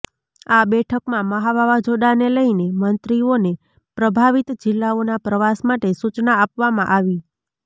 આ બેઠકમાં મહા વાવાઝોડાંને લઇને મંત્રીઓને પ્રભાવિત જિલ્લાઓના પ્રવાસ માટે સુચના આપવામાં આવી